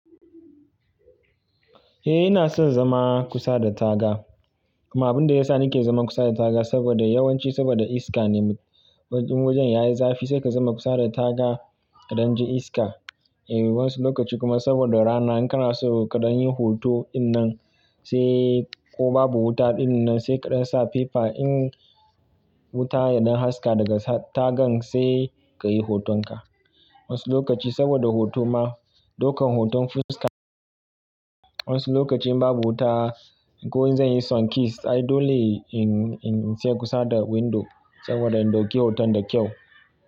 Eh ina son zama kusa da taga. Amma abun da ya sa nake zaman kusa da taga saboda yawanci saboda iska ne. Waj- in wajen yayi zafi sai ka zama kusa da taga kaɗan ji iska. Eh wasu lokaci kuma saboda rana in kana so kaɗan yin hoto ɗinnan sai ko babu wuta ɗinnan sai kaɗan sa fifa in wuta yaɗan haska daga tagan sai ka yi hotonka. Wasu lokaci saboda hoto ma, ɗokan hoton fuska. Wasu lokaci in babu wuta ko in zan yi sunkist, ai dole in in in sai kusa da window saboda in ɗauki hoton da kyau.